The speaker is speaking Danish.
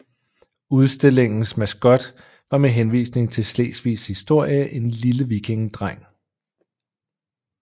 Udstillingens maskot var med henvisning til Slesvigs historie en lille vikingedreng